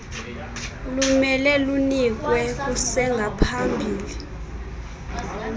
lumele lunikelwe kusengaphambili